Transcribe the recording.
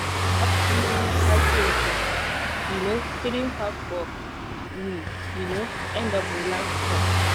afternoon waka change na um stream for park we um end up relax for.